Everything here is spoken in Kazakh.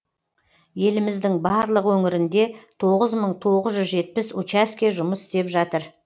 еліміздің барлық өңірінде тоғыз мың тоғыз жүз жетпіс учаске жұмыс істеп жатыр